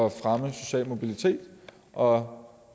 at fremme social mobilitet og